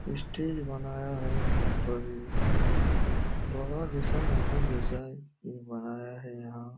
Stage बनाया है यहाँ पे एक। बड़ा जैसा महल जैसा है बनाया है यहाँ।